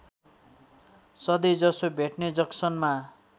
सधैँजसो भेट्ने जक्सनमा